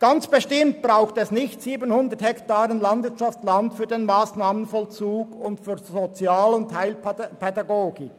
Ganz bestimmt braucht es nicht 700 Hektaren Landwirtschaftsland für den Massnahmenvollzug und für die Sozial- und Heilpädagogik.